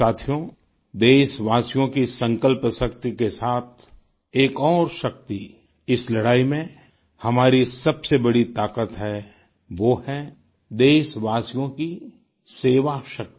साथियो देशवासियों की संकल्पशक्ति के साथ एक और शक्ति इस लड़ाई में हमारी सबसे बड़ी ताकत है वो है देशवासियों की सेवाशक्ति